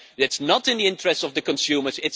It is not in the interest of the consumers.